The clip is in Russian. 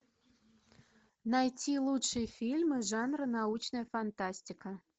найти лучшие фильмы жанра научная фантастика